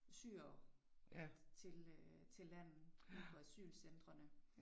Syrere til øh til landet ude på asylcentrene